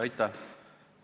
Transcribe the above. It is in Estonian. Aitäh!